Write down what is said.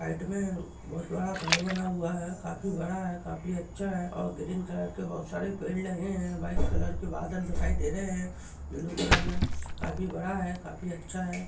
Height में बहुत बड़ा घर बना हुआ है काफी बड़ा है काफी अच्छा है और ग्रीन कलर के बहुत सारे पेड़ लगे है व्हाइट कलर के बादल दिखाई दे रहे है ब्लू कलर में काफी बड़ा है काफी अच्छा है।